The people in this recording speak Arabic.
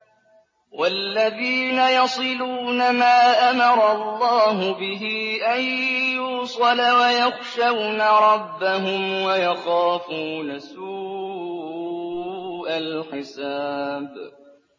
وَالَّذِينَ يَصِلُونَ مَا أَمَرَ اللَّهُ بِهِ أَن يُوصَلَ وَيَخْشَوْنَ رَبَّهُمْ وَيَخَافُونَ سُوءَ الْحِسَابِ